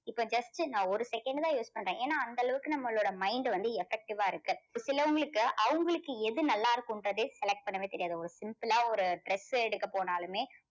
இப்போ just நான் ஒரு second தான் use பண்றேன். ஏன்னா அந்த அளவுக்கு நம்மளோட mind வந்து effective வா இருக்கு. ஒரு சிலவங்களுக்கு அவங்களுக்கு எது நல்லா இருக்குன்றதே select பண்ணவே தெரியாது. ஒரு simple ஆ ஒரு dress ஏ எடுக்க போனாலுமே